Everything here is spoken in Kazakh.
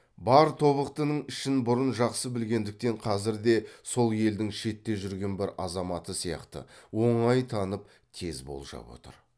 бар тобықтының ішін бұрын жақсы білгендіктен қазір де сол елдің шетте жүрген бір азаматы сияқты оңай танып тез болжап отыр